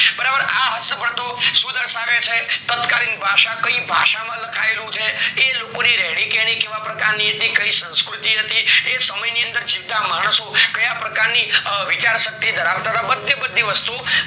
બરાબર. આ હસ્તપ્રતો શું દર્શાવે છે? તત્કાલીન ભાષા, કઈ ભાષામાં લખાયેલું છે કે એ લોકોની રહેણીકરણી કેવા પ્રકારની હતી, કઈ સંસ્કૃતિ હતી, એ સમયની અંદર જીવતા માણસો કયા પ્રકારની વિચારસરણી ધરાવતા હતા. બધ્ધે બધ્ધી વસ્તુ આ